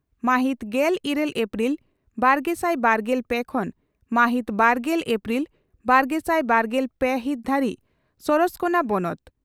ᱢᱟᱦᱤᱛ ᱜᱮᱞ ᱤᱨᱟᱹᱞ ᱮᱯᱨᱤᱞ ᱵᱟᱨᱜᱮᱥᱟᱭ ᱵᱟᱨᱜᱮᱞ ᱯᱮ ᱠᱷᱚᱱ ᱢᱟᱦᱤᱛ ᱵᱟᱨᱜᱮᱞ ᱮᱯᱨᱤᱞ ᱵᱟᱨᱜᱮᱥᱟᱭ ᱵᱟᱨᱜᱮᱞ ᱯᱮ ᱦᱤᱛ ᱫᱷᱟᱹᱨᱤᱡ ᱥᱟᱨᱚᱥᱠᱚᱬᱟ ᱵᱚᱱᱚᱛ